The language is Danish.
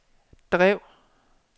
drev